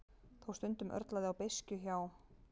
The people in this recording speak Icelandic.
Þó stundum örlaði á beiskju hjá